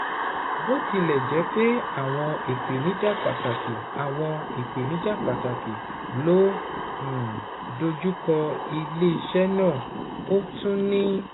Bó tilẹ̀ jẹ́ pé àwọn ìpèníjà pàtàkì àwọn ìpèníjà pàtàkì ló um ń dojú kọ iléeṣẹ́ náà, ó tún ní